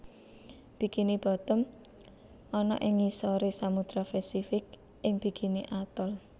Bikini Bottom ana ing ngisore Samudra Pasifik ing bikini Atoll